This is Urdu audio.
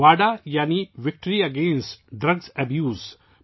وادا یعنی وِکٹری اگینٹ ڈرگ ایبیوز